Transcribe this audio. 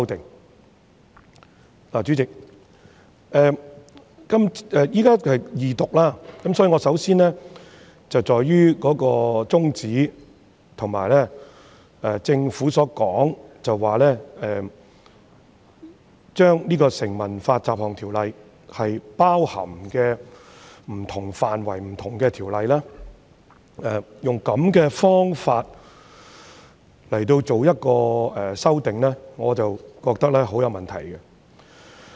代理主席，現在是二讀階段，我首先會集中討論有關宗旨，而對於政府這次用這種方法作出修訂，即在《條例草案》中包含不同的範圍及條例，我覺得有很大問題。